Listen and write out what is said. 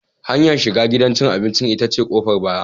Hanyar shiga gidan cin abinci ita ce ta ƙofar baya.